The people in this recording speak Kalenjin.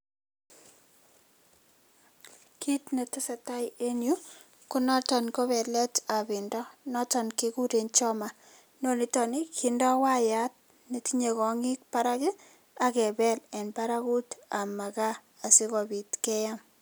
Kiit ne tesetai eng yu, konoton ko beeletab pendo noton kikure 'choma'. Niton kindoo wayat netinyei konyik barak ak kebel eng barakutab makaa asikopit keam.